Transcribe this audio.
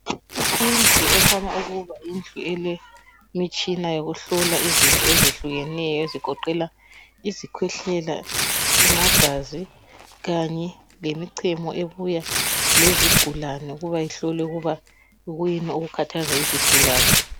Indlu ekhanya ukuba yindlu elemitshina yokuhlola izinto ezehlukeneyo ezigoqela izikhwehlela, amagazi kanye lemichemo ebuya lezigulane ukuba ihlolwe ukuba kuyini okukhathaza izigulane.